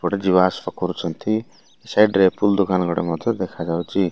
ଏପଟେ ଯିବା ଆସିବା କରୁଛନ୍ତି ସାଇଡ ରେ ଫୁ୍ଲ ଦୋକାନ ଗୋଟେ ମଧ୍ୟ ଦେଖାଯାଉଚି।